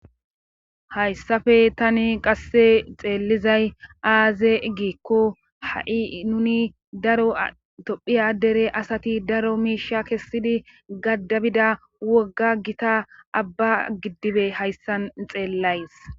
Hayssafe tani qasse xeellizay aaze igikko ha'i nuni daro dophiya addere asati daro miisha kessidi gaddabida wogga gita abba giddibe hayssan xeellays.